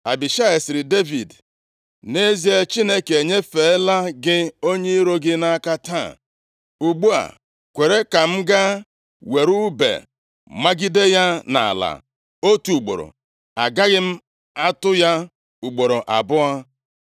Abishai sịrị Devid, “Nʼezie, Chineke enyefeela gị onye iro gị nʼaka taa. Ugbu a, kwere ka m gaa were ùbe magide ya nʼala otu ugboro; agaghị m atụ ya ugboro abụọ.”